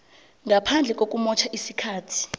ngaphandle kokumotjha isikhathi